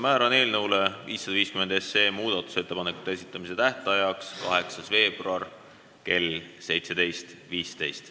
Määran eelnõu 550 muudatusettepanekute esitamise tähtajaks 8. veebruari kell 17.15.